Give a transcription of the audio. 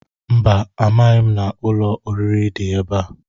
Mba, amaghị m na ụlọ oriri dị ebe a.